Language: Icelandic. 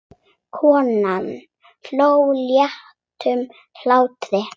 Konan hló léttum hlátri.